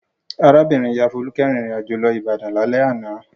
Arábìnrin-ìyá Folúkẹ́ rìnrìn-àjò lọ Ìbàdàn lálẹ́ àná.